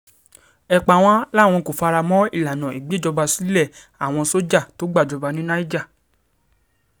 epawàn làwọn kò fara mọ́ ìlànà ìgbèjọba sílé àwọn sójà tó gbàjọba ní niger